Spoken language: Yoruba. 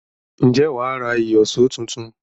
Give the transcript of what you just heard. Ǹjẹ́ wà á ra ìyọ̀ṣó tuntun?